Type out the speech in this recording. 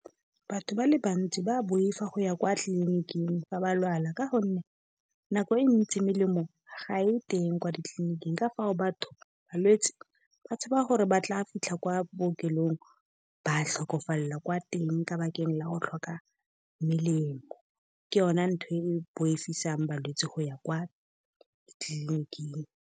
Batho ba le bantsi ba boifa go ya kwa tleliniking fa ba lwala. Ka gonne nako e ntsi melemo ga e teng kwa ditleliniking, ka fao balwetse ba tshaba gore ba tla fitlha kwa bookelong ba tlhokafalela kwa teng, ka bakeng la go tlhoka melemo. Ke yona ntho e boifisang balwetse go ya kwa ditleliniking.